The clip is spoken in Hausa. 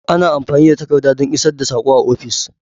Ana amfani da takarda don isar da sako a ofis.